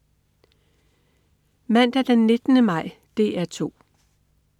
Mandag den 19. maj - DR 2: